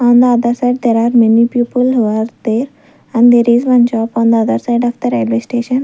on the other side there are many people who are there and there is one shop on other side of the railway station.